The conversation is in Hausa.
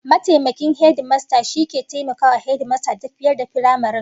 Mataimakin hedimasta shi ke taimakawa hedimastan da tafiyar da firamaren